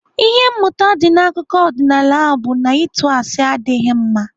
Ihe mmụta dị n'akụkọ ọdịnaala ahụ bụ na ịtụ asị adịghị mma.